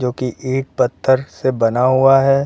जो की इट पत्थर से बना हुआ है।